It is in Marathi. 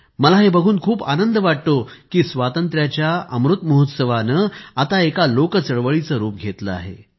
मला हे बघून खूप आनंद वाटतो की स्वातंत्र्याच्या अमृत महोत्सवाने आता एका लोकचळवळीचे रूप घेतले आहे